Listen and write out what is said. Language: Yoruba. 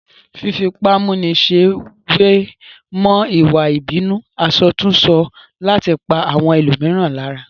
Fífipámúniṣe wé mọ́ ìwà ìbínú àsọtúnsọ láti pa àwọn ẹlòmíràn lára